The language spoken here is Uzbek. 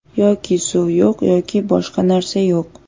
Yoki suv yo‘q, yoki boshqa narsa yo‘q.